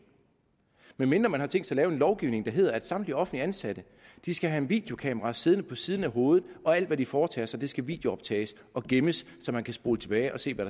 medmindre man har tænkt sig at lave en lovgivning der hedder at samtlige offentligt ansatte skal have et videokamera siddende på siden af hovedet og at alt hvad de foretager sig skal videooptages og gemmes så man kan spole tilbage og se hvad